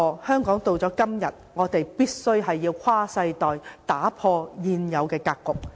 香港到了今天，我們必須跨世代、打破現有的格局。